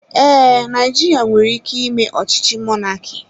Ee, Naijiria nwere ike ime ọchịchị mọnaki